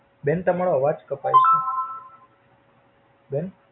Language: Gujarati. બેન તમારો અવાજ કપાય છે, બેન.